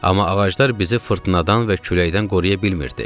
Amma ağaclar bizi fırtınadan və küləkdən qoruya bilmirdi.